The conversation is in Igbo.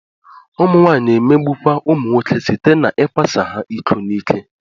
Ụmụnwaanyị na-emegbukwa ụmụnwoke site n'ịkwasị ha iko n'ike